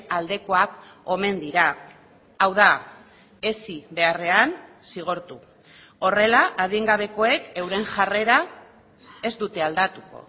aldekoak omen dira hau da hezi beharrean zigortu horrela adingabekoek euren jarrera ez dute aldatuko